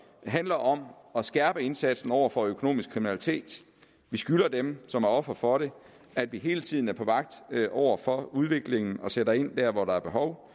handler om at skærpe indsatsen over for økonomisk kriminalitet vi skylder dem som er ofre for det at vi hele tiden er på vagt over for udviklingen og sætter ind dér hvor der er behov